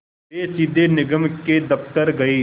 वे सीधे निगम के दफ़्तर गए